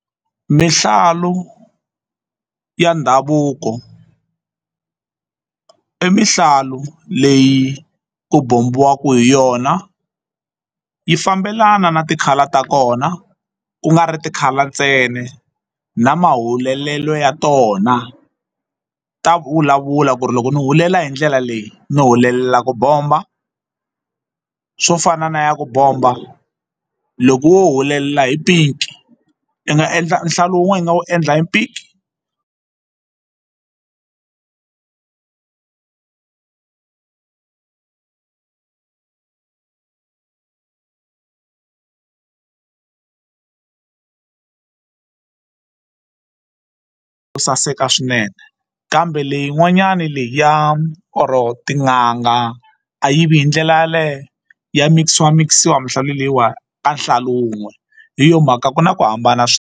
Mihlalu ya ndhavuko i mihlalu leyi ku bombiwaka hi yona yi fambelana na ti-colour ta kona ku nga ri ti-colour ntsena na mahulelelo ya tona ta vulavula ku ri loko ni hulela hi ndlela leyi ni hulelela ku bomba swo fana na ya ku bomba loko wo hulelela hi pink i nga endla nhlalu wun'we u nga wu endla hi pink to saseka swinene kambe leyin'wanyana leyi ya or tin'anga a yivi hi ndlela yaleyo ya mikisiwa mikisiwa mihlalu leyiwani ka nhlalu wun'we hi yo mhaka ku na ku hambana.